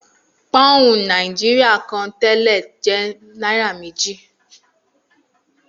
Pọ́ùn Nàìjíríà kan tẹ́lẹ̀ jẹ́ náírà méjì